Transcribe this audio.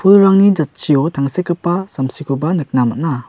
pulrangni jatchio tangsekgipa samsikoba nikna man·a.